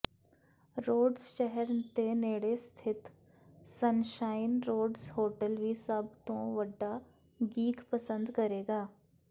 roads ਸ਼ਹਿਰ ਦੇ ਨੇੜੇ ਸਥਿਤ ਸਨਸ਼ਾਈਨ ਰੋਡਜ਼ ਹੋਟਲ ਵੀ ਸਭ ਤੋਂ ਵੱਡਾ ਗੀਕ ਪਸੰਦ ਕਰੇਗਾ